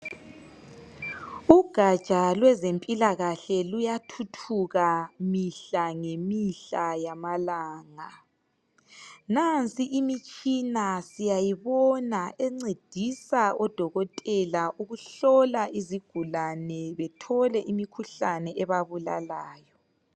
ugaja lwezimpilakahle luyathuthuka mihla lemihla yamalanga nansi imitshina siyayibona encedisa odokotela ukuhlola izigulane bethole imikhuhlane ebabulalayo